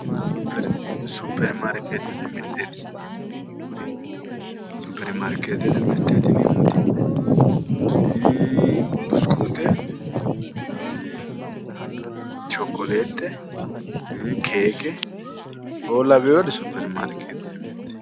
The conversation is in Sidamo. Superi maarkeettete mirteeti yineemmori kuri superi maarkeettete mirteeti yineemmoti ee busukuute chokkoleette keeke'oo lawewori superi maarkeettete mirteeti